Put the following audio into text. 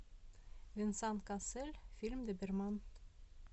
венсан кассель фильм доберман